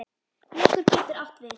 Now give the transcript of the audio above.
Leggur getur átt við